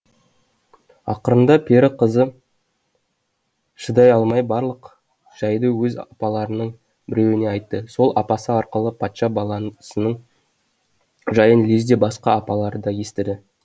ақырында пері қызы шыдай алмай барлық жайды өз апаларының біреуіне айтты сол апасы арқылы патша баласының жайын лезде басқа апалары да естіді